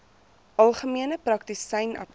algemene praktisyn apteek